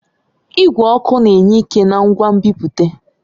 Igwe ọkụ na-enye ike na ngwa nbipute.